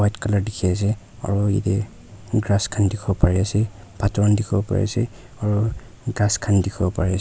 white colour dikhiase aro yatey grass kan dikhiwo pari ase photor khan dikhiwo pari ase aro ghas khan dikhiwo pari --